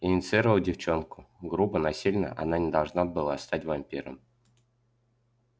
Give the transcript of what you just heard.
инициировал девчонку грубо насильно она не должна была стать вампиром